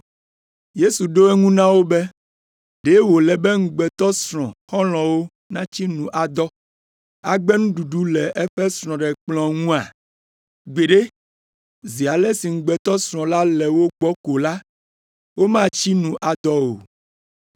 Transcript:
Yesu ɖo eŋu na wo be, “Ɖe wòle be ŋugbetɔsrɔ̃ xɔlɔ̃wo natsi nu adɔ, agbe nuɖuɖu le eƒe srɔ̃ɖekplɔ̃ ŋua? Gbeɖe, zi ale si ŋugbetɔsrɔ̃ la le wo gbɔ ko la, womatsi nu adɔ o